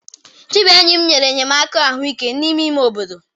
Chibuenyim nyere enyemaka ahụike n'ime ime obodo.